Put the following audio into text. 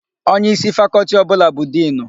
Onyeísí Fakọltị ọbụla bụ Dinu.